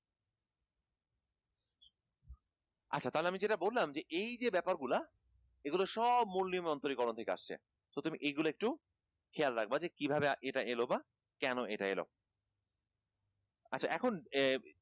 আচ্ছা তাহলে আমি যেটা বললাম যে এই যে ব্যাপারগুলা এগুলা সব মূল নিয়মে অন্তরীকরণ থেকে আসছে so তুমি এগুলা একটু খেয়াল রাখবা যে কিভাবে এটা এলো বা কেনো এটা এলো আচ্ছা এখন